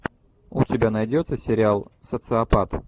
у тебя найдется сериал социопат